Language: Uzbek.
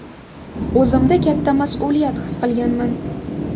O‘zimda katta mas’uliyat his qilganman.